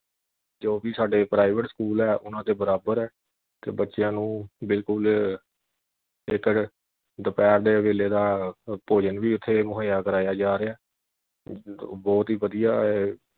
ਜੋ ਵੀ ਸਾਡੇ private ਸਕੂਲ ਐ ਉਨ੍ਹਾਂ ਦੇ ਬਰਾਬਰ ਤੇ ਬੱਚਿਆਂ ਨੂੰ ਬਿਲਕੁਲ ਇਕ ਦੁਪਹਿਰ ਦੇ ਵੇਲੇ ਦਾ ਭੋਜਨ ਵੀ ਉਥੇ ਮੁਹੱਈਆ ਕਰਾਇਆ ਜਾ ਰਿਹਾ। ਬਹੁਤ ਹੀ ਵਧੀਆਂ